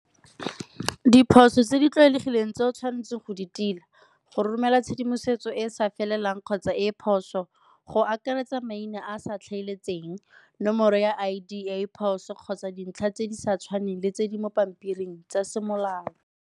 Diphoso tse di tlwaelegileng tse o tshwanetseng go di tila, go romela tshedimosetso e e sa felelang kgotsa e phoso, go akaretsa maina a sa tlhamaletseng nomoro ya I_D e e phoso kgotsa dintlha tse di sa tshwaneng le tse di mo pampiring tsa semolao.